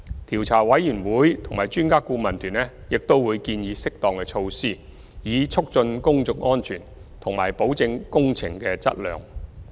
調查委員會及專家顧問團並會建議適當措施，以促進公眾安全和保證工程的質量。